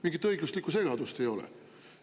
Mingit õiguslikku segadust ei ole!